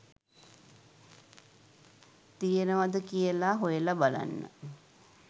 තියෙනවද කියලා හොයලා බලන්න